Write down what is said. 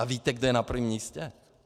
A víte, kdo je na prvním místě?